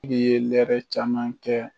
I ye lɛrɛ caman kɛ